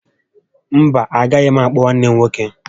Mba, agaghị m àkpọ̀ nwanne m nwoke